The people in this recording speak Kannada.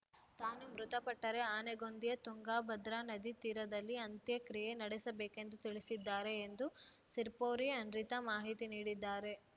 ತಾನು ಮೃತಪಟ್ಟರೆ ಆನೆಗೊಂದಿಯ ತುಂಗಭದ್ರಾ ನದಿ ತೀರದಲ್ಲಿ ಅಂತ್ಯಕ್ರಿಯೆ ನಡೆಸಬೇಕೆಂದು ತಿಳಿಸಿದ್ದಾರೆ ಎಂದು ಸಿರ್ಪೋರಿ ಅನ್ರಿತಾ ಮಾಹಿತಿ ನೀಡಿದ್ದಾರೆ